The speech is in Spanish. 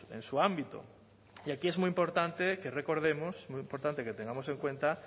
en su ámbito y aquí es muy importante que recordemos muy importante que tengamos en cuenta